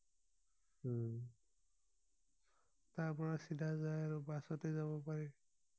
তাৰ পৰা চিধা যায় আৰু বাছতে যাব পাৰি